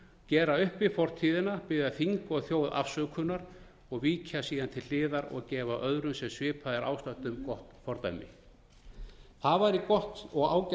gera upp við fortíðina biðja þing og þjóð afsökunar og víkja síðan til hliðar og gefa öðrum sem svipað er ástatt um gott fordæmi það væri gott og ágætt skref